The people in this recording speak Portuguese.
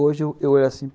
Hoje eu eu olho assim.